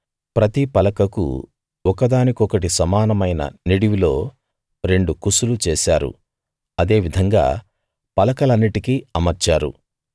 ప్రతి పలకకు ఒకదాని కొకటి సమానమైన నిడివిలో రెండు కుసులు చేశారు అదే విధంగా పలకలన్నిటికి అమర్చారు